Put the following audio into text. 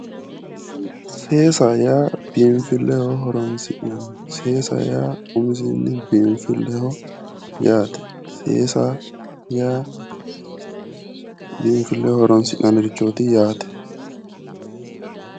Seeaaho yaa biinfilleho horonsi'nanni seesaho yaaumisinni biinfilleho yaate seesa yaa biinfilleho horonsi'nannirichooti yaate